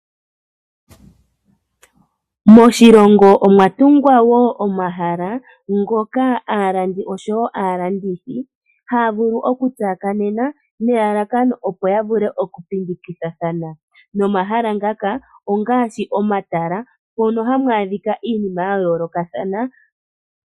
Moshilongo omwatungwa wo omahala ngoka aalandi osho wo aalandithi haya vulu okutsakanene nelalakano opo yavule okupingikithathana nomala ngaka ongaashi omatala mono hamu adhika iinima yayoolokathana.